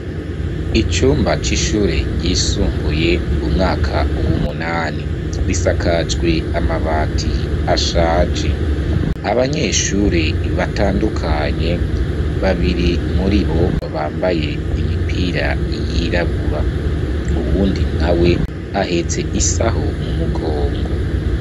Icumba c'ishure ryisumbuye umwaka w'umunani, bisakajwe amabati ashaje abanyeshuri batandukanye babiri muri bo bambaye imipira yirabura, uwundi nawe ahetse isaho mu mugongo.